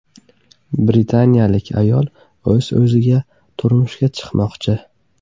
Britaniyalik ayol o‘z-o‘ziga turmushga chiqmoqchi.